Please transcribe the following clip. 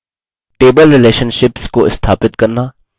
6 table relationships relationships को स्थापित करना